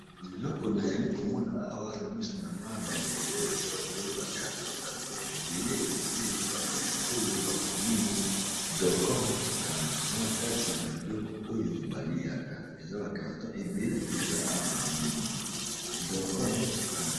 Naeloko na yali komona awa na misu na nga bandeko oyo eza ebele ba karton carton ebele ebele ba karton oyo bakomi dorkon titan eza na kati babiloko oyo baliaka eza ba karton ebele mpenza awa na omond dorcon titan.